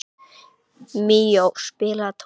Míó, spilaðu tónlist.